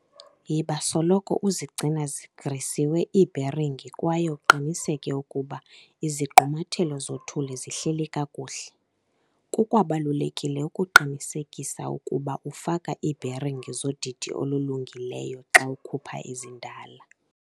Yiba soloko uzigcina zigrisiwe iibheringi kwaye uqiniseke ukuba ukuba izigqumathelo zothuli zihleli kakuhle. Kukwabalulekile ukuqinisekisa ukuba ufaka iibheringi zodidi olulungileyo xa ukhupha ezindala.